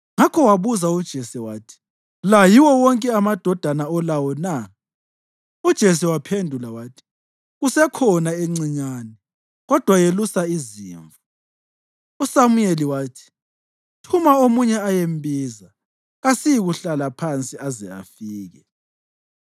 Ngakho wabuza uJese wathi, “La yiwo wonke amadodana olawo na?” UJese waphendula wathi, “Kusekhona encinyane, kodwa yelusa izimvu.” USamuyeli wathi, “Thuma omunye ayembiza; kasiyikuhlala phansi aze afike.”